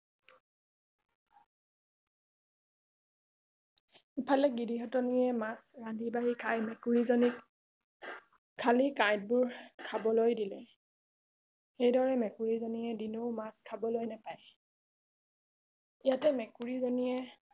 ইফালে গিৰিহঁতনীয়ে মাছ ৰান্ধি বাঁহী খাই মেকুৰী জনীক খালি কাঁইট বোৰ খাবলৈ দিলে এইদৰে মেকুৰী জনীয়ে দিনেও মাছ খাবলৈ নাপায় ইয়াতে মেকুৰী জনীয়ে